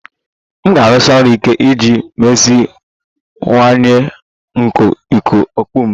M ga-arụsi ọrụ ike iji meziwanye nkà ịkụ ọkpọ m